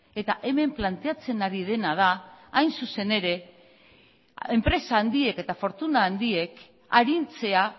eta hemen planteatzen ari dena da hain zuzen ere enpresa handiek eta fortuna handiek arintzea